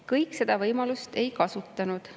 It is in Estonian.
Kõik seda võimalust ei kasutanud.